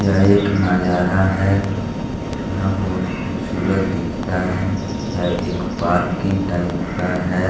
यह एक नजारा है यहाँ बहुत खूबसूरत दिखता है यह एक पार्किंग टाइप का है।